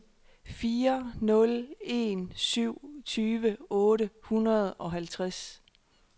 fire nul en syv tyve otte hundrede og halvtreds